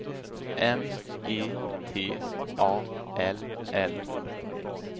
M E T A L L